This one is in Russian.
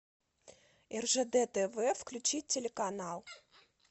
ржд тв включить телеканал